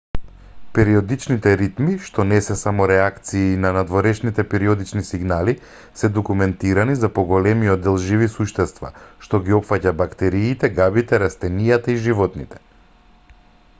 периодичните ритми што не се само реакции на надворешните периодични сигнали се документирани за поголемиот дел живи суштества што ги опфаќа бактериите габите растенијата и животните